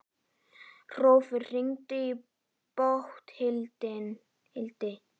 Hrólfur, hringdu í Bóthildi.